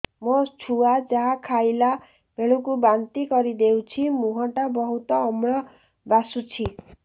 ମୋ ଛୁଆ ଯାହା ଖାଇଲା ବେଳକୁ ବାନ୍ତି କରିଦଉଛି ମୁହଁ ଟା ବହୁତ ଅମ୍ଳ ବାସୁଛି